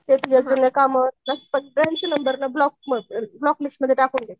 ते जे जुन्या कामावर असतात ना सगळ्यांची नंबर ब्लॉक ब्लॉक लिस्टमध्ये टाकून दे.